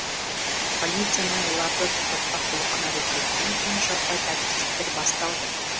полицияның оларды тоқтатпақ болған әрекетінен кейін жаппай тәртіпсіздіктер басталды